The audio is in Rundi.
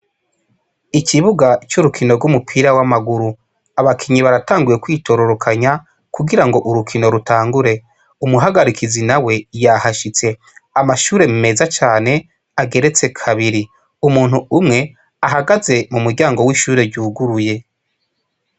Ikibuga c'urukino rw'umupira w'amaguru; abakinyi baratanguye kwitororokanya, kugira ngo urukino rutangure; umuhagarikizi nawe yahashitse. Amashure meza cane, ageretse kabiri; umuntu umwe ahagaze mu muryango w'ishure ryuguruye.